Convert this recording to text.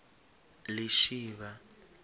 lishivha